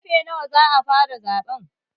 Karfe nawa za a fara zaɓe?